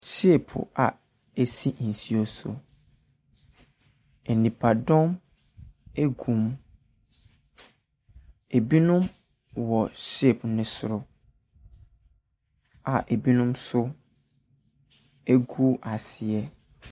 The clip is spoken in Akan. Ship a ɛsi nsuo so. Nipadɔm gu mu. Ɛbinom wɔ ship no soro a binom nso gu aseɛ.